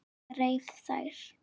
Ég reif þær.